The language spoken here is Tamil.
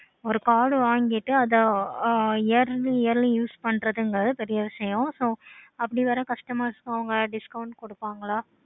okay